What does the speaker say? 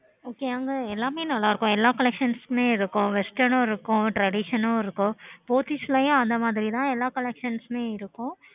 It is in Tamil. எல்லாமே நல்ல இருக்கும் எல்லா collections உம் நல்ல இருக்கும் western உம் இருக்கும் traditional உம் இருக்கும் Pothys ல யும் அந்த மாறி தா எல்லாமே இருக்கும்